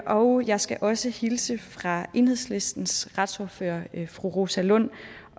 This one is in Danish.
og jeg skal også hilse fra enhedslistens retsordfører fru rosa lund